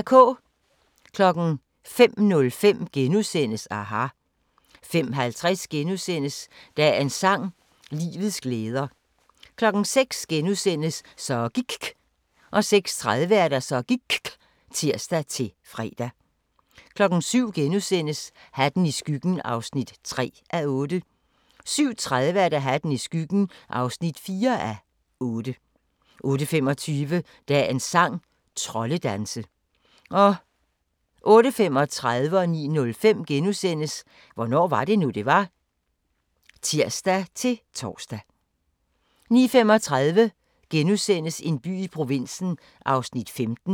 05:05: aHA! * 05:50: Dagens sang: Livets glæder * 06:00: Så gIKK' * 06:30: Så gIKK (tir-fre) 07:00: Hatten i skyggen (3:8)* 07:30: Hatten i skyggen (4:8) 08:25: Dagens sang: Troldedanse 08:35: Hvornår var det nu, det var? *(tir-fre) 09:05: Hvornår var det nu, det var? *(tir-tor) 09:35: En by i provinsen (15:17)*